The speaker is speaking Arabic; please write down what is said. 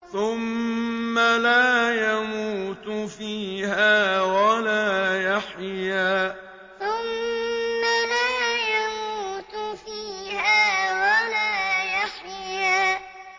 ثُمَّ لَا يَمُوتُ فِيهَا وَلَا يَحْيَىٰ ثُمَّ لَا يَمُوتُ فِيهَا وَلَا يَحْيَىٰ